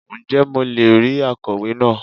Ǹ jẹ́ mo le è rí akọ̀wé náà